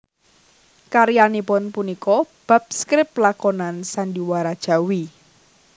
Karyanipun punika bab skrip lakonan sandhiwara Jawi